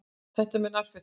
Þetta með nærfötin.